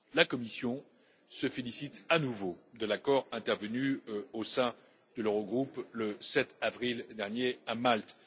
La Commission se félicite à nouveau de l'accord intervenu au sein de l'Eurogroupe, le 7 avril dernier, à Malte.